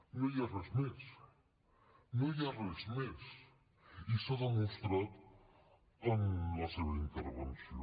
no hi ha res més no hi ha res més i s’ha demostrat en la seva intervenció